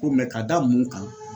Ko k'a da mun kan